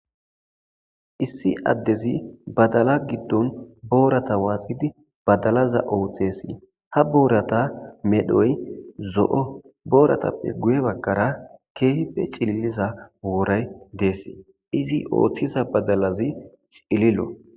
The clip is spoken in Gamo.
Issi addezi badala giddon boorata waaxidi badalaza ooththesi ha boorata medhoy zo7o booratappe guye bakkara keehpe cililiza wooray deess izi ooththiza badalazi cililo.